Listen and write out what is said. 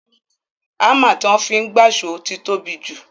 Ámà tí wọ́n fi gbáṣọ̀ ti tóbi jù